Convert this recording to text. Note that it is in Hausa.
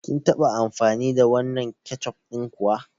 Kin taɓa amfani da wannan keccof ɗin kuwa?